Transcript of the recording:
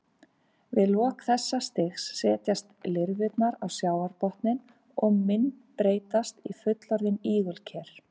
Við lok þessa stigs setjast lirfurnar á sjávarbotninn og myndbreytast í fullorðin ígulker.